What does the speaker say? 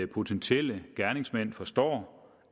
potentielle gerningsmænd forstår